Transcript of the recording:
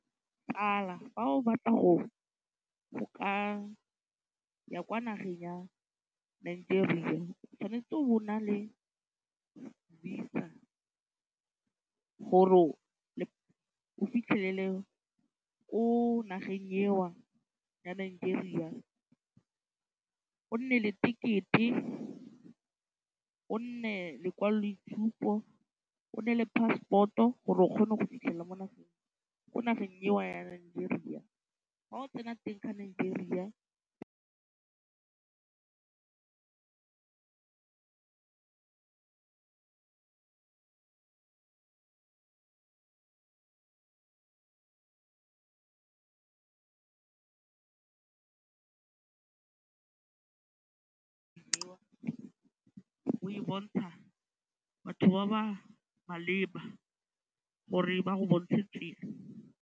Tsala fa o batla go ka ya kwa nageng ya Nigeria o tshwanetse o bo o na le VISA gore o o fitlhelele ko nageng eo ya Nigeria o nne le ticket-e, o nne lekwaloitshupo o nne le passport-o gore o kgone go fitlhelela mo nageng ko nageng ewa ya Nigeria ga o tsena teng kwa Nigeria o e bontsha batho ba ba maleba gore ba go bontshe tsela.